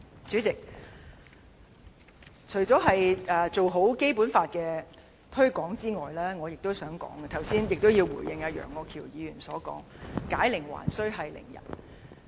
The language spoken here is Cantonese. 主席，除了做好《基本法》推廣之外，我亦想討論及回應楊岳橋議員所指，即有關解鈴還需繫鈴人的論點。